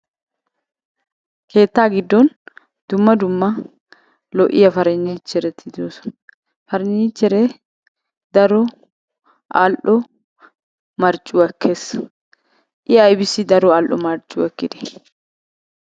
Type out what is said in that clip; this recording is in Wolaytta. Keettaa giddon dumma dumma lo'iya pariniichchereti de'oosona. Pariniichcheree daro al"o marccuwa ekees. I aybissi daro al"o marccuwaa ekkidee?